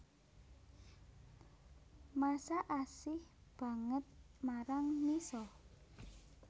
Masha asih banget marang Misha